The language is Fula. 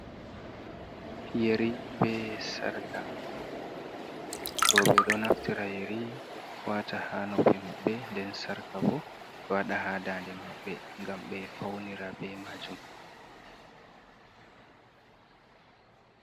Yeri be sarqa, roɓe ɗo naftira yeri wata ha noppi mabɓe, nden sarka bo e waɗa ha dannde mabɓe ngam ɓe fawnira be majum.